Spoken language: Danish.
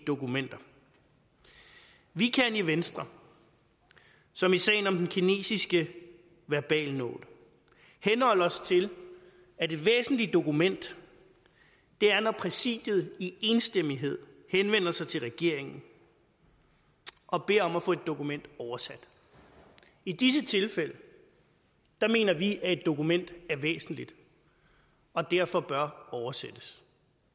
dokumenter vi kan i venstre som i sagen om den kinesiske verbalnote henholde os til at et væsentligt dokument er når præsidiet i enstemmighed henvender sig til regeringen og beder om at få et dokument oversat i disse tilfælde mener vi at et dokument er væsentligt og derfor bør oversættes